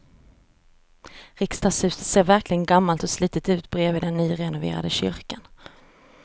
Riksdagshuset ser verkligen gammalt och slitet ut bredvid den nyrenoverade kyrkan.